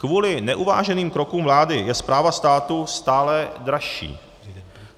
Kvůli neuváženým krokům vlády je správa státu stále dražší.